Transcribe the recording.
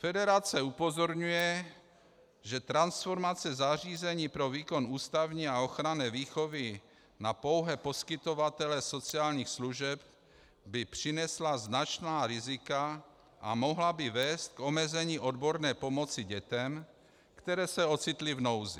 Federace upozorňuje, že transformace zařízení pro výkon ústavní a ochranné výchovy na pouhé poskytovatele sociálních služeb by přinesla značná rizika a mohla by vést k omezení odborné pomoci dětem, které se ocitly v nouzi.